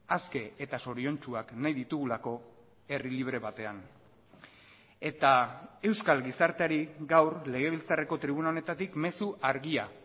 aske eta zoriontsuak nahi ditugulako herri libre batean eta euskal gizarteari gaur legebiltzarreko tribuna honetatik mezu argia